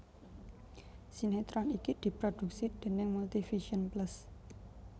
Sinetron iki diproduksi déning Multivision Plus